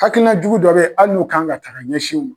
Hakilina jugu dɔ bɛ yen hali n'u kan ka ta ka ɲɛsin u ma